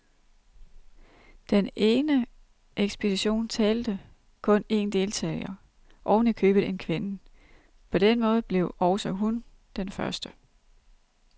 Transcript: Den ene ekspedition talte kun en deltager, oven i købet en kvinde. På den måde blev også hun den første.